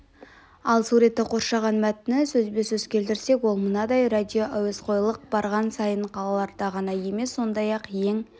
ал суретті қоршаған мәтіні сөзбе-сөз келтірсек ол мынадай радиоәуесқойлық барған сайын қалаларда ғана емес сондай-ақ ең